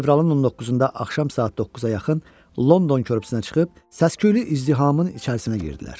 Fevralın 19-da axşam saat 9-a yaxın London körpüsünə çıxıb səs-küylü izdihamın içərisinə girdilər.